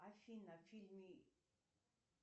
афина фильмы